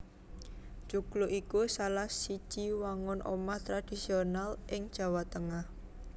Joglo iku salah siji wangun omah tradisional ing Jawa Tengah